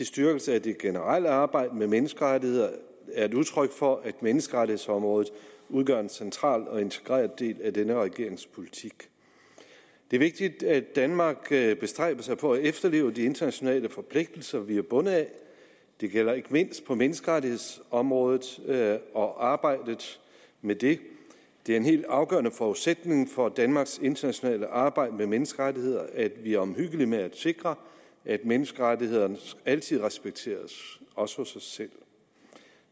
styrkelse af det generelle arbejde med menneskerettigheder er et udtryk for at menneskerettighedsområdet udgør en central og integreret del af denne regerings politik det er vigtigt at danmark bestræber sig på at efterleve de internationale forpligtelser vi er bundet af det gælder ikke mindst på menneskerettighedsområdet og arbejdet med det det er en helt afgørende forudsætning for danmarks internationale arbejde med menneskerettigheder at vi er omhyggelige med at sikre at menneskerettighederne altid respekteres også hos os selv